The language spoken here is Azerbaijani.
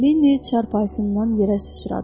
Linni çarpayısından yerə sürüşdü.